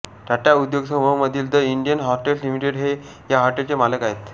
टाटा उद्योगसमूह मधील the Indian hotels limited हे या हॉटेलचे मालक आहेत